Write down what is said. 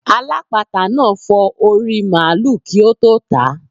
Alápatà náà fọ orí i màlúù kí ó tó tàá.